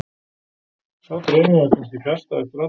Sá draumur var kannski fjarstæðastur allra.